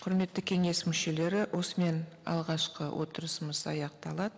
құрметті кеңес мүшелері осымен алғашқы отырысымыз аяқталады